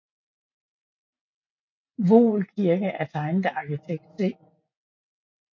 Voel Kirke er tegnet af arkitekt C